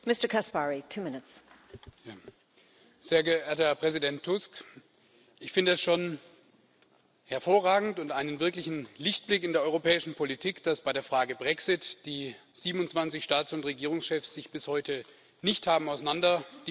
Frau Präsidentin, sehr geehrter Herr Präsident Tusk! Ich finde es schon hervorragend und einen wirklichen Lichtblick in der europäischen Politik, dass bei der Frage Brexit die 27 Staats und Regierungschefs sich bis heute nicht haben auseinanderdividieren lassen.